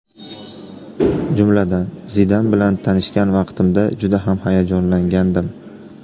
Jumladan, Zidan bilan tanishgan vaqtimda juda ham hayajonlangandim.